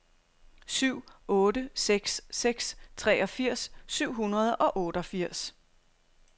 syv otte seks seks treogfirs syv hundrede og otteogfirs